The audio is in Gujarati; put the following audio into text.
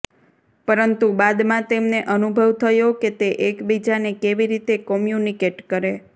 પરંતુ બાદમાં તેમને અનુભવ થયો કે તે એકબીજાને કેવી રીતે કોમ્યુનિકેટ કરે